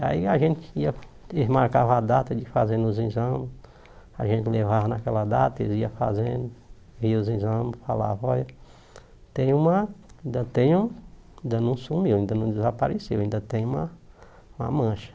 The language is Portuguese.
E aí a gente ia, eles marcavam a data de fazer os exames, a gente levava naquela data, eles iam fazendo, via os exames, falava, olha, tem uma, ainda tem um, ainda não sumiu, ainda não desapareceu, ainda tem uma uma mancha.